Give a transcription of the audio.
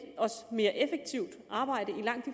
mere effektivt arbejde i langt